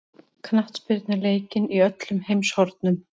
Knattspyrna er leikin í öllum heimshornum.